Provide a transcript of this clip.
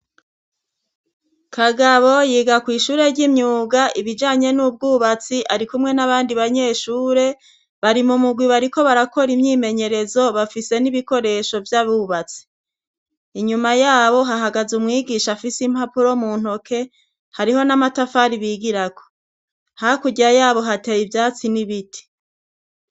Kagabo yiga kw'ishure ry'imyuga ibijanye n'ubwubatsi ari kumwe n'abandi banyeshure, bari mu mugwi bariko barakora imyimenyerezo, bafise n'ibikoresho vy'abubatsi. Inyuma yabo hahagaze umwigisha afise impapuro mu ntoke, hariho n'amatafari bigirako. Hakurya yabo hateye ivyatsi n'ibiti.